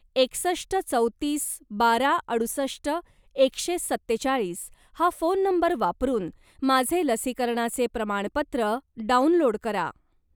एकसष्ट चौतीस बारा अडुसष्ट एकशे सत्तेचाळीस हा फोन नंबर वापरून माझे लसीकरणाचे प्रमाणपत्र डाउनलोड करा.